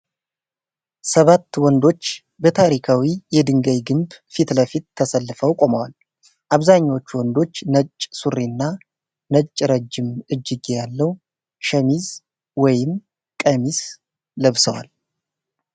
ሰባት ወንዶች በታሪካዊ የድንጋይ ግንብ ፊት ለፊት ተሰልፈው ቆመዋል። አብዛኞቹ ወንዶች ነጭ ሱሪና ነጭ ረጅም እጅጌ ያለው ሸሚዝ ወይም ቀሚስ ለብሰዋል።